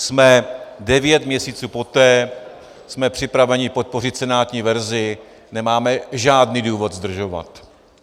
Jsme devět měsíců poté, jsme připraveni podpořit senátní verzi, nemáme žádný důvod zdržovat.